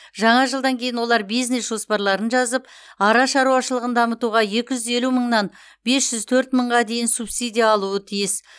жаңа жылдан кейін олар бизнес жоспарларын жазып ара шаруашылығын дамытуға екі жүз елу мыңнан бес жүз төрт мыңға дейін субсидия алуы тиіс